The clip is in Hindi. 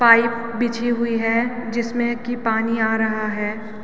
पाइप बिछी हुई है जिमसे की पानी आ रहा है।